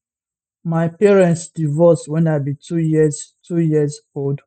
my parents divorce when i be 2 years 2 years old